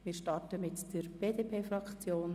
Wir beginnen mit der BDP-Fraktion.